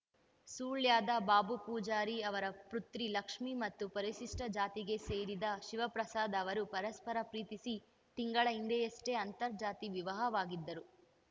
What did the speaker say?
ಸುಳ್ಯದ ಬಾಬು ಪೂಜಾರಿ ಅವರ ಪೃತ್ರಿ ಲಕ್ಷ್ಮೀ ಮತ್ತು ಪರಿಶಿಷ್ಟ ಜಾತಿಗೆ ಸೇರಿದ ಶಿವಪ್ರಸಾದ್ ಅವರು ಪರಸ್ಪರ ಪ್ರೀತಿಸಿ ತಿಂಗಳ ಹಿಂದೆಯಷ್ಟೇ ಅಂತರ್ಜಾತಿ ವಿವಾಹವಾಗಿದ್ದರು